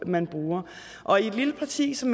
man bruger og i et lille parti som